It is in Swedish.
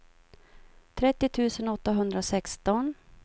trettio tusen åttahundrasexton